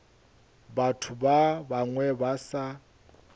batho ba bangwe ba sa